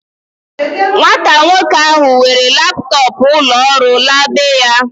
Nwata nwoke ahu were laptọọpụ ulo ọrụ la beya